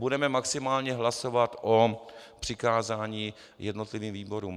Budeme maximálně hlasovat o přikázání jednotlivým výborům.